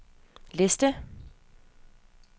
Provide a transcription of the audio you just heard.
liste